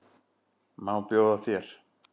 Má bjóða þér?